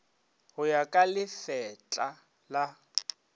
go ya ka lefetla la